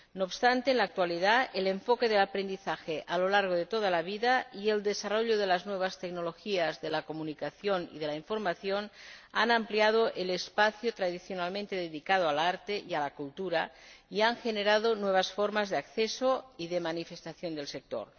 No obstante, en la actualidad, el enfoque del aprendizaje a lo largo de toda la vida y el desarrollo de las nuevas tecnologías de la comunicación y de la información han ampliado el espacio tradicionalmente dedicado al arte y a la cultura, y han generado nuevas formas de acceso y de manifestación del sector.